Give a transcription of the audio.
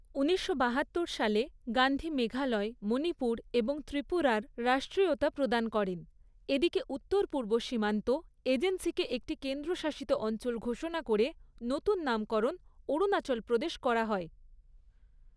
ঊনিশশো বাহাত্তর সালে, গান্ধী মেঘালয়, মণিপুর এবং ত্রিপুরার রাষ্ট্রীয়তা প্রদান করেন, এদিকে উত্তর পূর্ব সীমান্ত এজেন্সিকে একটি কেন্দ্রশাসিত অঞ্চল ঘোষণা করে নতুন নামকরণ অরুণাচল প্রদেশ করা হয়।